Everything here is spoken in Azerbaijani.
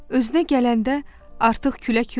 Özünə gələndə artıq külək yox idi.